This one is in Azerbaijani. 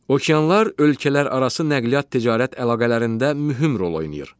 Okeanlar ölkələr arası nəqliyyat ticarət əlaqələrində mühüm rol oynayır.